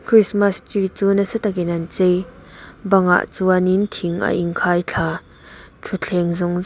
christmas tree chu nasa takin an chei bangah chuan in thing a in khai thla thutthleng zawng zawng.